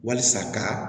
Walasa ka